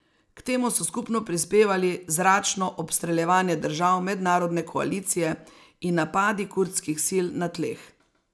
K temu so skupno prispevali zračno obstreljevanje držav mednarodne koalicije in napadi kurdskih sil na tleh.